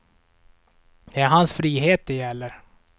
Det är hans frihet det gäller.